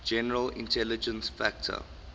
general intelligence factor